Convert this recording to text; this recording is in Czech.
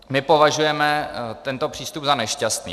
My považujeme tento přístup za nešťastný.